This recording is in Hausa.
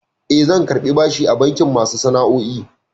Eh, zan karɓi bashi a bankin masu sana'o'i.